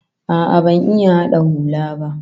A'a, ban iya hada hula ba